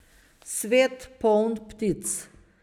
Svet, poln ptic.